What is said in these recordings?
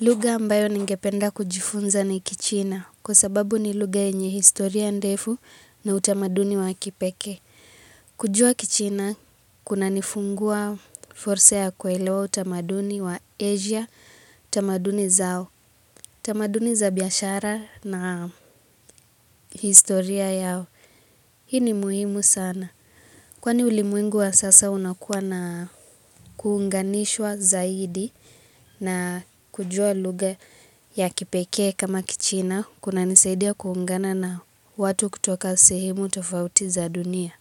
Lugha ambayo ningependa kujifunza ni kichina, kwa sababu ni lugha yenye historia ndefu na utamaduni wa kipekee. Kujua kichina, kunanifungua fursa ya kuelewa utamaduni wa Asia, tamaduni zao. Tamaduni za biashara na historia yao, hii ni muhimu sana. Kwani ulimwengu wa sasa unakuwa na kuunganishwa zaidi na kujua lugha ya kipekee kama kichina kunanisaidia kuungana na watu kutoka sehemu tofauti za dunia.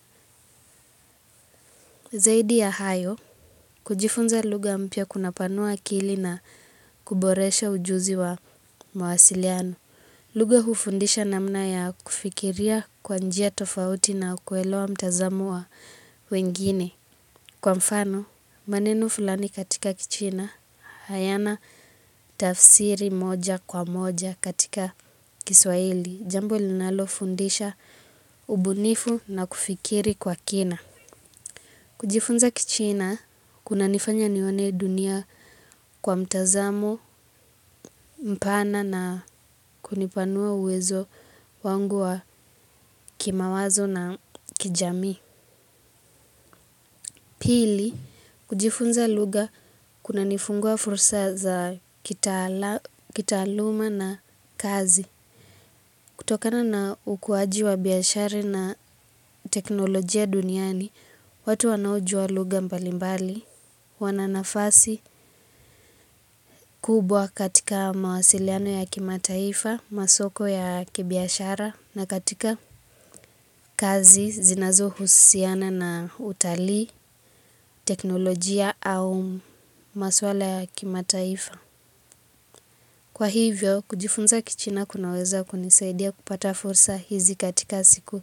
Zaidi ya hayo, kujifunza lugha mpya kunapanua akili na kuboresha ujuzi wa mawasiliano. Lugha hufundisha namna ya kufikiria kwa njia tofauti na kuelewa mtazamo wa wengine. Kwa mfano, maneno fulani katika kichina hayana tafsiri moja kwa moja katika kiswahili. Jambo linalofundisha ubunifu na kufikiri kwa kina. Kujifunza kichina, kunanifanya nione dunia kwa mtazamo mpana na kunipanua uwezo wangu wa kimawazo na kijamii. Pili, kujifunza lugha kunanifungua fursa za kitaaluma na kazi. Kutokana na ukuaji wa biashara na teknolojia duniani, watu wanaojua lugha mbalimbali, wananafasi kubwa katika mawasiliano ya kimataifa, masoko ya kibiashara, na katika kazi zinazohususiana na utalii, teknolojia au maswala kimataifa. Kwa hivyo, kujifunza kichina kunaweza kunisaidia kupata fursa hizi katika siku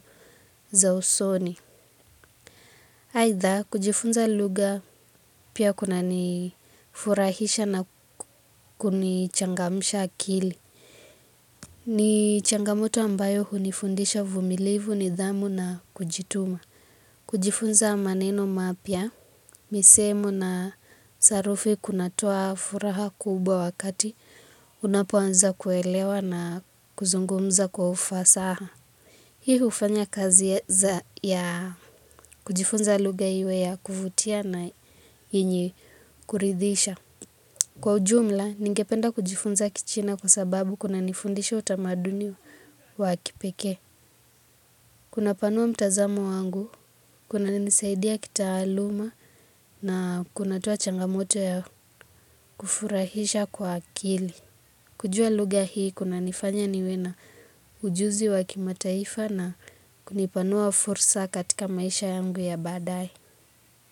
za usoni. Aidha, kujifunza lugha pia kunanifurahisha na kunichangamisha akili. Ni changamoto ambayo hunifundisha uvumilivu, nidhamu na kujituma. Kujifunza maneno mapia, misemo na sarufi kunatoa furaha kubwa wakati, unapoanza kuelewa na kuzungumza kwa ufasaha. Hii hufanya kazi ya kujifunza lugha iwe ya kuvutia na yenye kuridhisha. Kwa ujumla, ningependa kujifunza kichina kwa sababu kunanifundisha utamaduni wa kipekee. Kunapanua mtazamo wangu, kunanisaidia kitaaluma na kunatoa changamoto ya kufurahisha kwa akili. Kujua lugha hii kunanifanya niwe na ujuzi wa kimataifa na kunipanua fursa katika maisha yangu ya badaaye.